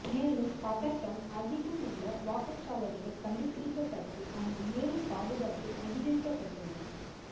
மேலும் பதட்டம் அதிகம் உள்ள வாக்குச்சாவடிகள் கண்டுபிடிக்கப்பட்டு அங்கு மேலும் பாதுகாப்பு அதிகரிக்கப்பட்டுள்ளது